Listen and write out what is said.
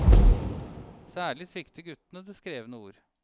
Særlig svikter guttene det skrevne ord.